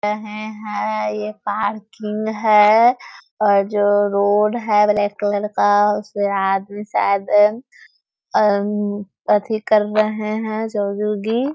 ए है यह पार्किंग है और जो रोड है ब्लैक कलर का उसे आदमी शायद अ कर रहे है ।